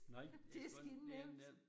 Nej det godt nok ikke nemt